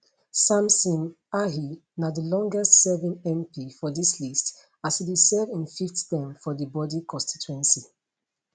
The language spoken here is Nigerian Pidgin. samson ahi na di longest serving mp for dis list as e dey serve im fifth term for di bodi constituency